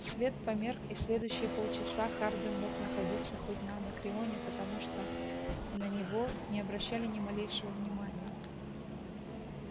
свет померк и следующие полчаса хардин мог находиться хоть на анакреоне потому что на него не обращали ни малейшего внимания